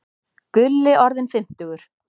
Gulli orðinn fimmtugur.